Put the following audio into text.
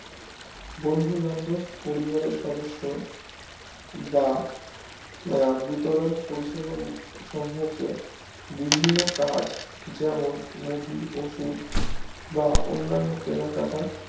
বন্ধু বান্ধব পরিবারের সদস্য বা আহ বিতরণ পরিষেবা সমুখে বিভিন্ন কাজ যেমন মুদি ওষুধ বা অন্নান্য কেনা কাটা